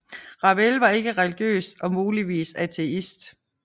Ravel var ikke religiøs og muligvis ateist